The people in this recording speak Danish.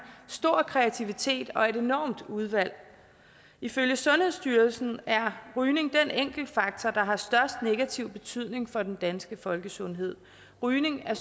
stor kreativitet og et enormt udvalg ifølge sundhedsstyrelsen er rygning den enkeltfaktor der har størst negativ betydning for den danske folkesundhed rygning er